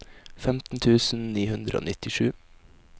femten tusen ni hundre og nittisju